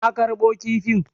Na karɓo kifin.